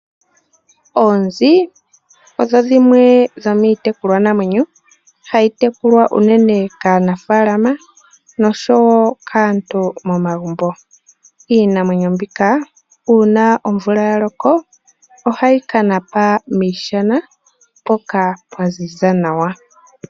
Oonzi odho dhimwe dhomiitekulwanamwenyo hayi tekulwa unene kaanafaalama noshowoo kaantu momagumbo. Iinamwenyo mbika uuna omvula ya loka ohayi kana pa miishana, mpoka pwaziza nawa.